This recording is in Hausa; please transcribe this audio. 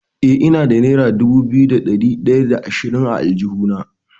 Eh, ina da nera dubu biyu da ɗari ɗaya da ashirin a aljihuna.